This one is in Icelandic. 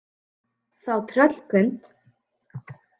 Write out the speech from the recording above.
Þá tröllkund